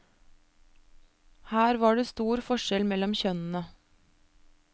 Her var det stor forskjell mellom kjønnene.